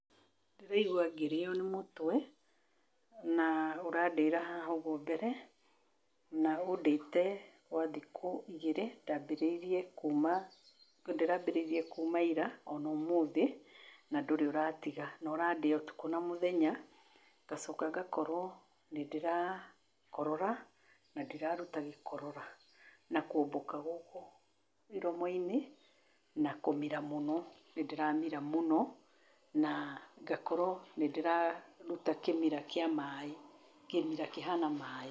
Ndĩraigwa ngĩrĩo nĩ mũtwe, na ũrandĩĩra haha ũguo mbere na ũndĩte gwa thikũ igĩrĩ. Ndaambĩrĩirie kuuma ira, o na ũmũthĩ na ndurĩ ũratiga, na ũrandĩa ũtukũ na mũthenya. Ngacoka ngakorwo nĩ ndĩra korora na ndĩra ruta gĩkorora, na kũũmbũka gũkũ iromo-inĩ, na kũmira mũno, nĩ ndĩramira mũno. Na ngakorwo nĩ ndĩraruta kĩmira kĩa maaĩ, kĩmira kĩhana maaĩ.